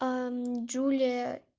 джулия